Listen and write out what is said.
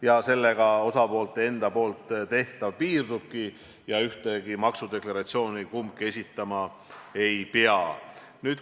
Ja sellega osapoolte enda tehtav piirdubki, ühtegi maksudeklaratsiooni kumbki esitama ei pea.